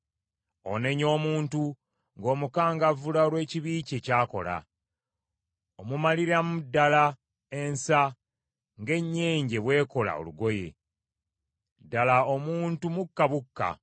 Onenya omuntu ng’omukangavvula olw’ekibi kye ky’akola, omumaliramu ddala ensa, ng’ennyenje bw’ekola olugoye. Ddala omuntu mukka bukka.